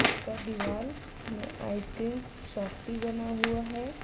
इसका दीवाल में आइसक्रीम सॉफ्टी बना हुआ है।